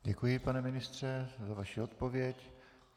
Děkuji, pane ministře, za vaši odpověď.